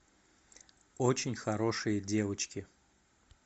очень хорошие девочки